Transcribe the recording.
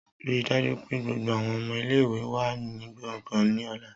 Rii daju pe gbogbo awọn ọmọ ile-iwe wa ni gbongan ni ọla.